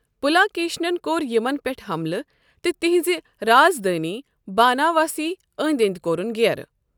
پُلاکیشِنن کور یمن پیٹھ حملہٕ تہٕ تہنزِ رازدانہِ باناواسی ٲندۍ ٲندۍ کورُن گیرٕ ۔